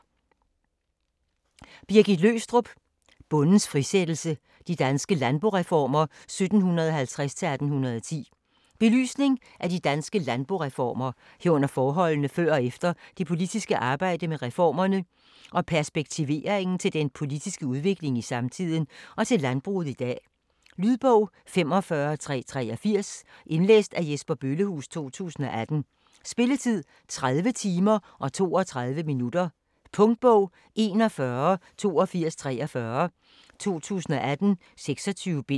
Løgstrup, Birgit: Bondens frisættelse: de danske landboreformer 1750-1810 Belysning af de danske landboreformer, herunder forholdene før og efter, det politiske arbejde med reformerne og perspektivering til den politiske udvikling i samtiden og til landbruget i dag. Lydbog 45383 Indlæst af Jesper Bøllehuus, 2018. Spilletid: 30 timer, 32 minutter. Punktbog 418243 2018. 26 bind.